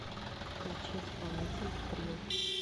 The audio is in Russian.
включи исполнителя трилл